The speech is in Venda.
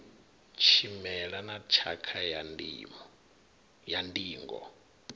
tshimela na tshakha ya ndingo